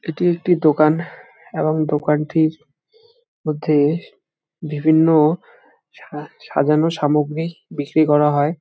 এটি একটি দোকান এবং দোকানটির মধ্যে বিভিন্ন সা-সাজানো সামগ্রী বিক্রি করা হয় ।